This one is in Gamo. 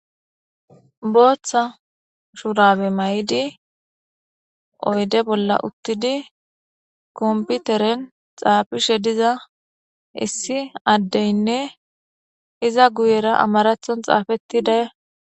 booththa shurabe may7idi oyde bolla uttidi komputeren xaafishe diza issi addeynne iza guyera amarathon xaafettida xaafoy bettees